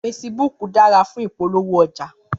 Fésibúk dàrá fún ipólówó òjá